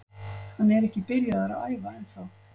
Hann er ekki byrjaður að æfa ennþá.